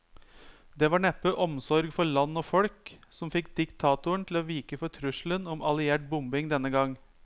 Det var neppe omsorg for land og folk som fikk diktatoren til å vike for trusselen om alliert bombing denne gang.